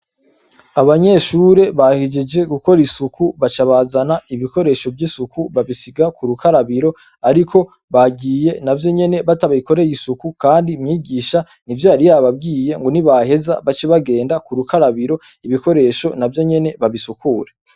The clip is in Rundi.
Abanyeshure bahejeje gukora isuku baca bazana ibikoresho vyisuku babisiga kurukarabiro ariko bagiye navyonyene batabikoreye isuku kandi umwigisha nivyo yari yababwiye nibaheza bace bagenda kurukarabiro ibikoresho navyo nyene babisukure